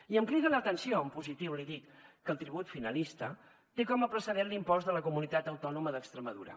i em crida l’atenció en positiu l’hi dic que el tribut finalista té com a precedent l’impost de la comunitat autònoma d’extremadura